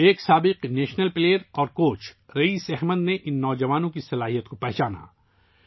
ایک سابق قومی کھلاڑی اور کوچ رئیس احمد نے ، ان نوجوانوں کی صلاحیتوں کو پہچانا